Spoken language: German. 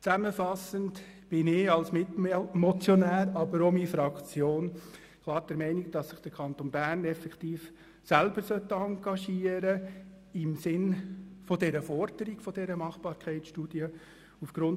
Zusammenfassend: Ich als Mitmotionär wie auch meine Fraktion sind der Meinung, dass der Kanton Bern sich im Sinne der Forderung der Machbarkeitsstudie effektiv selber engagieren sollte.